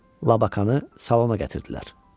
Labakanı salona gətirdilər.